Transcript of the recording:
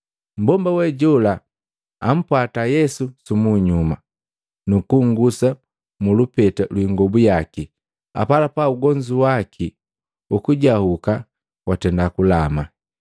Mmbomba we jola ampwata Yesu sumunyuma, nukugusa mu lupeta lwi ingobu yaki, apalapala ugonzu waki hukujahuka watenda kulama.